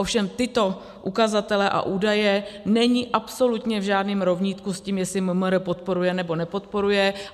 Ovšem tyto ukazatele a údaje nejsou absolutně v žádném rovnítku s tím, jestli MMR podporuje, nebo nepodporuje.